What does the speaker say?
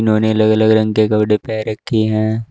इन्होंने अलग अलग रंग के कपड़े पहन रखी हैं।